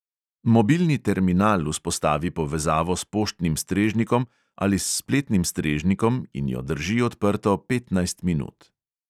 Mobilni terminal vzpostavi povezavo s poštnim strežnikom ali s spletnim strežnikom in jo drži odprto petnajst minut.